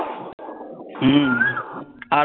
হম আর